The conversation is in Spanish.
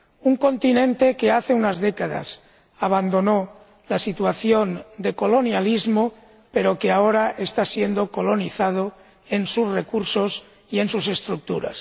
Un continente que hace unas décadas abandonó la situación de colonialismo, pero que ahora está siendo colonizado en sus recursos y en sus estructuras.